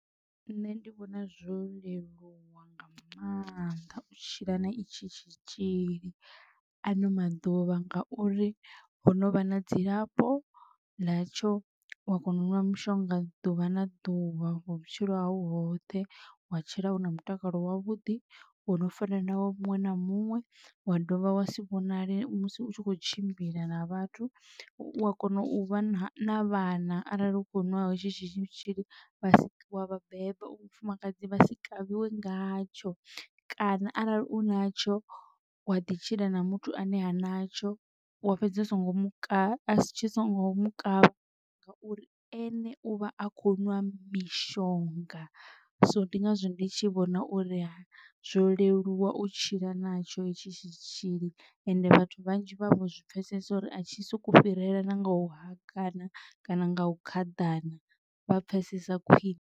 Nṋe ndi vhona zwo leluwa nga maanḓa u tshila na itshi tshitzhili ano maḓuvha ngauri ho novha na dzilafho ḽa tsho wa kona u ṅwa mushonga ḓuvha na ḓuvha vhutshilo hau hoṱhe wa tshila una mutakalo wavhuḓi uno fanelaho muṅwe na muṅwe wa dovha wa si vhonale musi u tshi kho tshimbila na vhathu. Wa kona u vha na vhana arali u kho nwa hetshi tshitzhili vha wa vhabebi u vhafumakadzi vha si kavhiwe ngatsho kana arali u natsho wa ḓi tshila na muthu ane ha natsho wa fhedzi u songo mu kavha tshi songo mu kavha ngauri ene uvha a kho nwa mishonga. So ndi ngazwo ndi tshi vhona uri zwo leluwa u tshila na tsho hetshi tshitzhili ende vhathu vhanzhi vha vho zwi pfesesa uri a tshi soko fhirela na nga u hakana kana nga u khaḓana vha pfesesa khwiṋe.